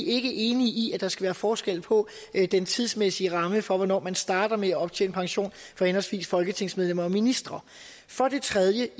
ikke enige i at der skal være forskel på den tidsmæssige ramme for hvornår man starter med at optjene pension for henholdsvis folketingsmedlemmer og ministre for det tredje